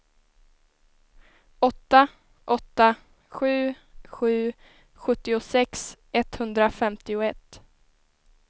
åtta åtta sju sju sjuttiosex etthundrafemtioett